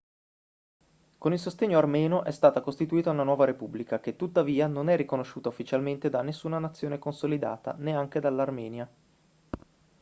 con il sostegno armeno è stata costituita una nuova repubblica che tuttavia non è riconosciuta ufficialmente da nessuna nazione consolidata neanche dall'armenia